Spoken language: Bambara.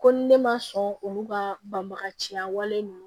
Ko ni ne ma sɔn olu ka banbaga siya wale ninnu